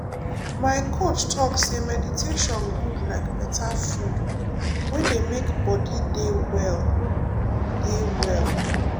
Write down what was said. my coach talk say meditation good like better food wey dey make body deh well. deh well.